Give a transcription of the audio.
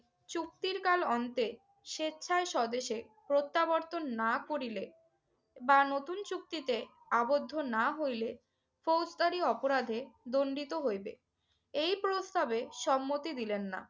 চুক্তির কাল অন্তে স্বেচ্ছায় স্বদেশে প্রত্যাবর্তন না করিলে বা নতুন চুক্তিতে আবদ্ধ না হইলে ফৌজদারি অপরাধে দণ্ডিত হইবে। এই প্রস্তাবে সম্মতি দিলেন না।